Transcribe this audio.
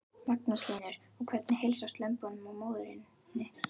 Magnús Hlynur: Og hvernig heilsast lömbunum og móðurinni?